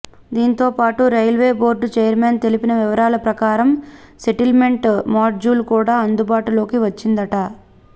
దీంతో పాటు railway board chairman తెలిపిన వివరాల ప్రకారం సెటిల్మెంట్ మాడ్యూల్ కూడా అందుబాటులోకి వచ్చిందట